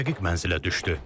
Biri dəqiq mənzilə düşdü.